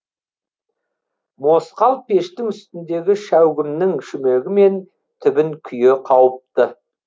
мосқал пештің үстіндегі шәугімнің шүмегі мен түбін күйе қауыпты